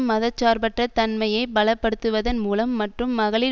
மத சார்பற்ற தன்மையை பலப்படுத்துவதன் மூலம் மற்றும் மகளிர்